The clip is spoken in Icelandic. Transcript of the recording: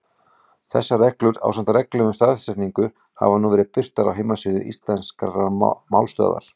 Þessar reglur, ásamt reglum um stafsetningu, hafa nú verið birtar á heimasíðu Íslenskrar málstöðvar.